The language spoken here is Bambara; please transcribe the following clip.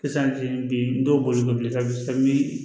Sisan bi dɔw bolo bilen sisan min